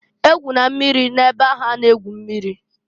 E gwụna mmiri na-ebe ahụ a na-egwu mmiri!